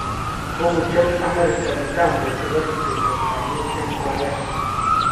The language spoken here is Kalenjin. Kokochomb Amerika mitambo chepo ripset ap kaliet eng Korea